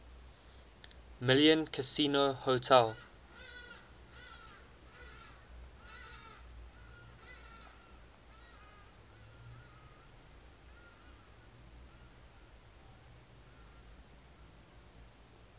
million casino hotel